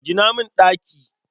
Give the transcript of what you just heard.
Gina min ɗaki.